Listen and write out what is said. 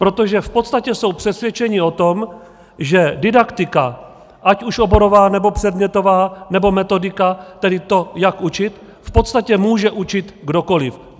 Protože v podstatě jsou přesvědčeni o tom, že didaktika, ať už oborová, nebo předmětová, nebo metodika, tedy to, jak učit, v podstatě může učit kdokoliv.